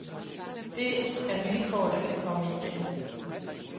Det er vilkår, der kan komme igen.